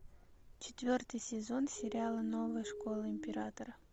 четвертый сезон сериала новая школа императора